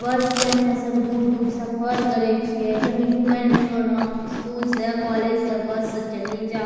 बस से हमें सब दूर-दूर सफर करई छिए कहीं घूमेल भी होलों स्कूल से कॉलेज से बस से चली जा।